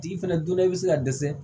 Tigi fɛnɛ donna i be se ka dɛsɛ